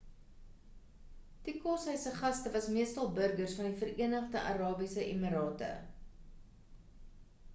die koshuis se gaste was meestal burgers van die vereenigde arabiese emirate